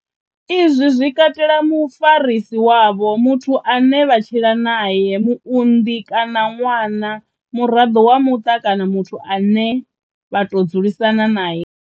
Izwi zwi katela mufarisi wavho, muthu ane vha tshila nae, muunḓi kana ṅwana, muraḓo wa muṱa kana muthu ane vha tou dzulisana nae.